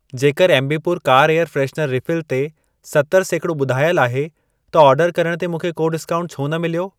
जेकर एमबीपुर car air freshener refill ते सतरि सैकिड़ो ॿुधायल आहे, त ओर्डर करण ते मूंखे को डिस्काऊंट छो न मिलियो?